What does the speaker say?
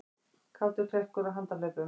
Kátur klerkur á handahlaupum